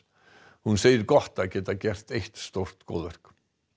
hún segir gott að geta gert eitt stórt góðverk